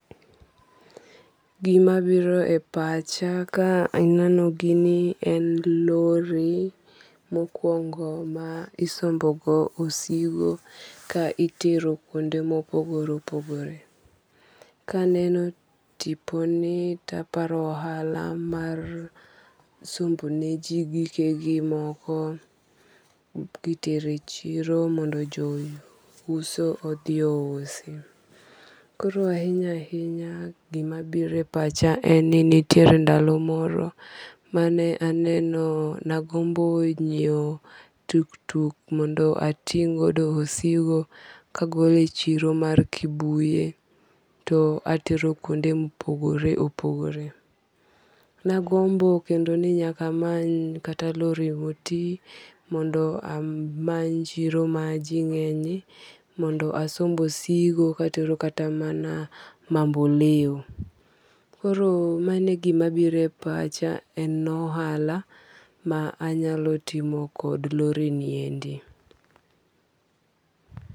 Gima biro e pacha ka aneno gini en lori, mokwongo ma isombo go osigo, ka itero kuonde ma opogore opogore. Ka aneno tiponi, to aparo ohala mar sombone ji gike gi moko, kitero e chiro mondo jouso odhi ousi. Koro ahinya ahinya gima biro e pacha e ni nitiere ndalo moro mane aneno, nagombo nyiewo tuktuk mondo ating' godo osigo ka agolo e chiro mar Kibuye to atero kuonde ma opogore opogore. Nagombo kendo ni nyaka amany kata lori moti, mondo amany chiro ma ji ngénye, mondo asomb osigo ka atero kata Mamboleo. Koro mano e gima biro e pacha, en ohala ma anyalo timo kod lori ni endi.